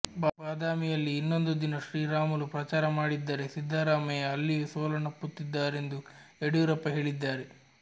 ಬಾದಾಮಿಯಲ್ಲಿ ಇನ್ನೊಂದು ದಿನ ಶ್ರೀರಾಮುಲು ಪ್ರಚಾರ ಮಾಡಿದ್ದರೆ ಸಿದ್ದರಾಮಯ್ಯ ಅಲ್ಲಿಯೂ ಸೋಲನ್ನಪ್ಪುತ್ತಿದ್ದರೆಂದು ಯಡಿಯೂರಪ್ಪ ಹೇಳಿದ್ದಾರೆ